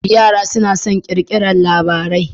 Yara suna son kirkiraran labarai